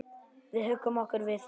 Við huggum okkur við það.